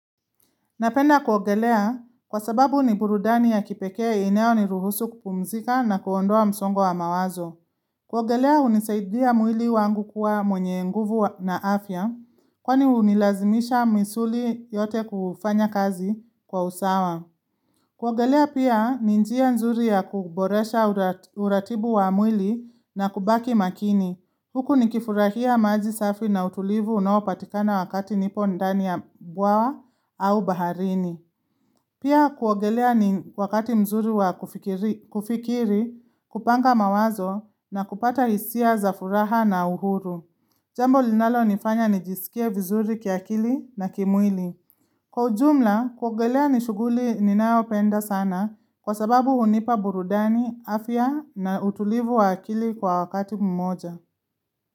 Napenda kuogelea kwa sababu ni burudani ya kipekee inayo niruhusu kupumzika na kuondoa msongo wa mawazo. Kuogelea hunisaidia mwili wangu kuwa mwenye nguvu na afya kwani hunilazimisha misuli yote kufanya kazi kwa usawa. Kuogelea pia ni njia nzuri ya kuboresha uratibu wa mwili na kubaki makini. Huku nikifurahia maji safi na utulivu unaopatikana wakati nipo ndani ya bwawa au baharini. Pia kuogelea ni wakati mzuri wa kufikiri, kupanga mawazo na kupata hisia za furaha na uhuru. Jambo linalonifanya nijisikie vizuri kiakili na kimwili. Kwa ujumla, kuogelea ni shughuli ninayopenda sana kwa sababu hunipa burudani, afya na utulivu wa akili kwa wakati mmoja.